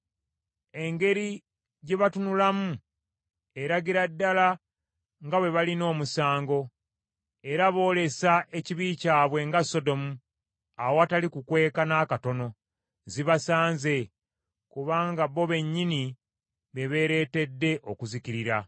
Engeri gye batunulamu eragira ddala nga bwe balina omusango, era boolesa ekibi kyabwe nga Sodomu awatali kukweka n’akatono. Zibasanze! Kubanga bo bennyini be beereeteedde okuzikirira.